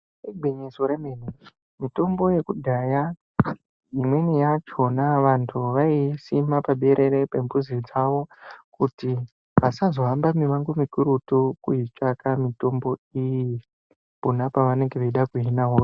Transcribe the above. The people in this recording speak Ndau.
Igwinyiso remene mitombo yekudhaya imweni yachona vantu waiisima pabere pempuzi dzawo kuti pazohambe kukurutu eitsvaka mitombo iyi pona pawanenge weida kuhina hosha.